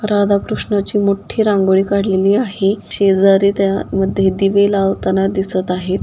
राधा कृष्णाची मोठी रांगोळी काढलेली आहे शेजारी त्या मध्ये दिवे लावताना दिसत आहेत.